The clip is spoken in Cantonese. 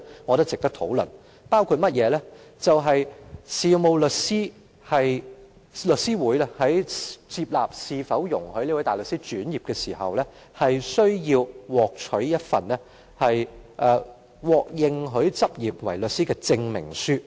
我認為這是值得討論的，其中包括香港律師會在考慮是否容許一名大律師轉業時，會要求申請人取得一份獲認許執業為律師的證明書。